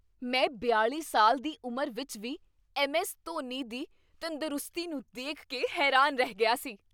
ਮੈਂ ਬਿਆਲ਼ੀ ਸਾਲ ਦੀ ਉਮਰ ਵਿੱਚ ਵੀ ਐੱਮ ਐੱਸ ਧੋਨੀ ਦੀ ਤੰਦਰੁਸਤੀ ਨੂੰ ਦੇਖ ਕੇ ਹੈਰਾਨ ਰਹਿ ਗਿਆ ਸੀ